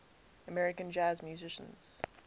american jazz musicians